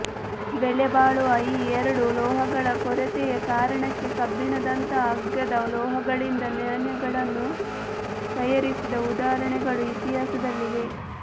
ಬೆಲೆಬಾಳುವ ಈ ಎರಡು ಲೋಹಗಳ ಕೊರತೆಯ ಕಾರಣಕ್ಕೆ ಕಬ್ಬಿಣದಂತಹ ಅಗ್ಗದ ಲೋಹಗಳಿಂದ ನಾಣ್ಯಗಳನ್ನು ತಯಾರಿಸಿದ ಉದಾಹರಣೆಗಳೂ ಇತಿಹಾಸದಲ್ಲಿವೆ